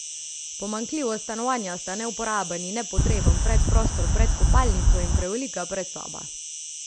Pomanjkljivost stanovanja sta neuporaben in nepotreben predprostor pred kopalnico in prevelika predsoba.